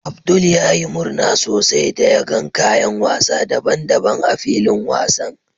Abdul ya yi murna sosai da yagan kayan wasa daban-daban a filin wasan